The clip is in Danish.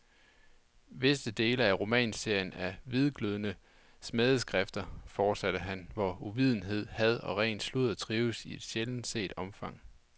Visse dele af romanserien er hvidglødende smædeskrifter, fortsatte han, hvor uvidenhed, had og ren sludder trives i et sjældent set omfang.